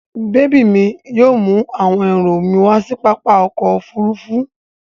Bèbí mi yóò àwọn ẹrù mi wá sí pápá ọkọ̀-òfurufú.